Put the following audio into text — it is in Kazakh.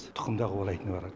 тұқым да қуалайтын бар